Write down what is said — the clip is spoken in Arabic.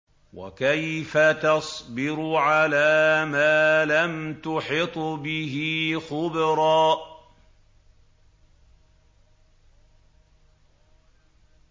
وَكَيْفَ تَصْبِرُ عَلَىٰ مَا لَمْ تُحِطْ بِهِ خُبْرًا